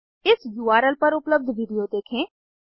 इस उर्ल पर उपलब्ध विडिओ देखें